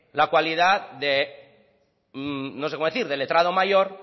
la cualidad de no sé cómo decir de letrado mayor